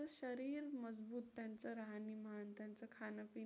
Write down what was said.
त्यांचं राहणीमान, त्यांचं खाणं-पिणं